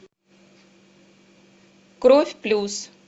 кровь плюс